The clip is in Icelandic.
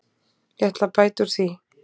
Ég ætla að bæta úr því.